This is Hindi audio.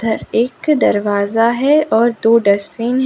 इधर एक दरवाजा है और दो डस्टबिन है।